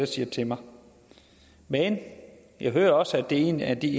siger til mig men jeg hører også at det er en af de